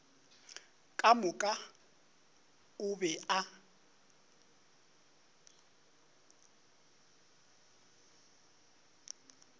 ka moka o be a